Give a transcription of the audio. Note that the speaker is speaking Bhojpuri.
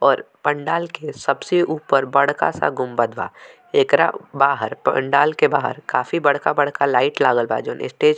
और पंडाल के सबसे ऊपर बड़का सा गुम्बद बा एकरा बाहर पंडाल के बाहर काफी बड़का-बड़का लाइट लागल बा जोवन स्टेज --